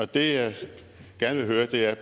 det jeg vil gerne høre er